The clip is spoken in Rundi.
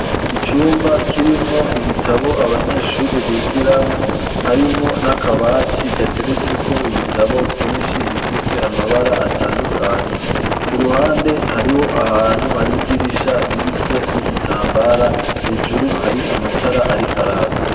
Icumba kirimwo ibitabo abanyeshure bigiramwo harimwo n'akabati gateretse ko ibitabo vyinshi bifise amabara atandukanye ku ruhande hariho ahantu hari idirisha ririko n'igitambara hejuru hari amatara ariko araka.